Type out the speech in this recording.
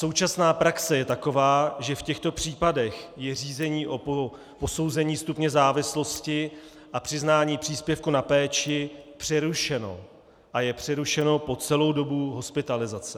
Současná praxe je taková, že v těchto případech je řízení o posouzení stupně závislosti a přiznání příspěvku na péči přerušeno a je přerušeno po celou dobu hospitalizace.